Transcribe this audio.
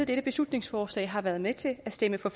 dette beslutningsforslag har været med til at stemme for